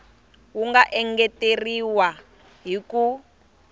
wu nga engeteriwa hi ku